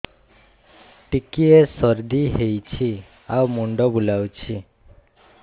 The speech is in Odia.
ଟିକିଏ ସର୍ଦ୍ଦି ହେଇଚି ଆଉ ମୁଣ୍ଡ ବୁଲାଉଛି